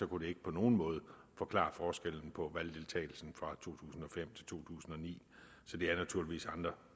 det ikke på nogen måde forklare forskellen på valgdeltagelsen fra to tusind og fem til to tusind og ni så det er naturligvis andre